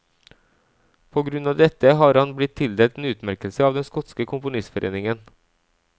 På grunn av dette har han blitt tildelt en utmerkelse av den skotske komponistforeningen.